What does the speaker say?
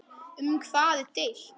Um hvað er deilt?